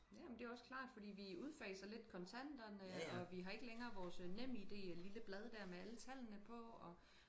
ja men det er også klart fordi vi udfaser lidt kontanterne og vi har ikke længere vores nem id det lille blad der med alle tallene på og